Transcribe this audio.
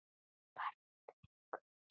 Farðu í friði Guðs.